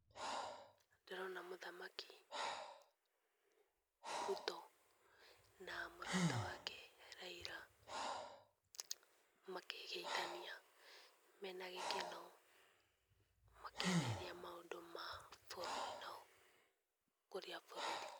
Ndĩrona mũthamaki Ruto, na mũrata wake Raila, makĩgeithania mena gĩkeno makĩarĩrĩria maũndũ ma bũrũri na ũkũria bũrũri.